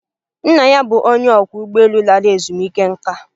Nna ya bụ onye ọkwọ ụgbọelu lara ezumike nká